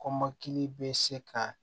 Kɔmɔkili bɛ se ka